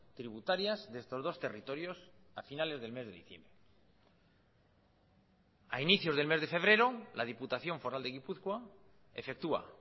tributarias de estos dos territorios a finales del mes de diciembre a inicios del mes de febrero la diputación foral de gipuzkoa efectúa